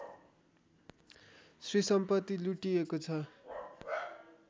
श्रीसम्पत्ति लुटिएको छ